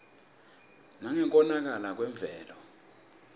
nangekonakala kwemvelo